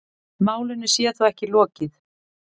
Málinu sé þó ekki lokið.